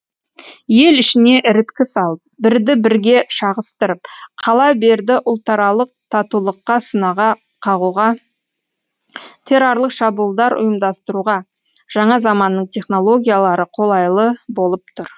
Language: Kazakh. ел ішіне іріткі салып бірді бірге шағыстырып қала берді ұлтаралық татулыққа сынаға қағуға террорлық шабуылдар ұйымдастыруға жаңа заманның технологиялары қолайлы болып тұр